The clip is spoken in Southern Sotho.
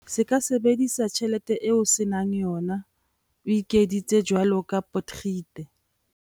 Se ke wa sebedisa tjhelete eo o se nang yona, o ekeditse jwalo Potgieter.